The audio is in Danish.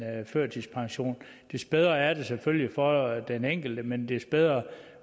førtidspension des bedre er det selvfølgelig for den enkelte men des bedre